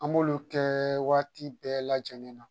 An b'olu kɛ waati bɛɛ lajɛlen na